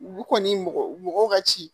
U kɔni mɔgɔ ka ci